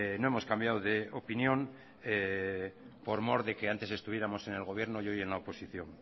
no hemos cambiado de opinión por mor de que antes estuviéramos en el gobierno y hoy en la oposición